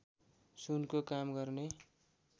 सुनको काम गर्ने